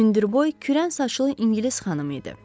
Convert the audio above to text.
Hündürboy, kürən saçlı ingilis xanım idi.